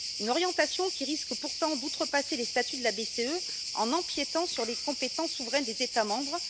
Une orientation qui risque pourtant d'outrepasser les statuts de la BCE en empiétant sur les compétences souveraines des États membres.